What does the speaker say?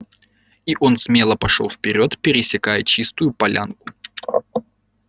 и он смело пошёл вперёд пересекая чистую полянку